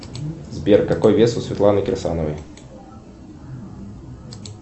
сбер какой вес у светланы кирсановой